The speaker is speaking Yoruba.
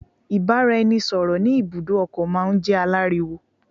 Ìbáraẹnisọ̀rọ̀ ní ibùdó ọkọ̀ máà ń jẹ́ aláriwo.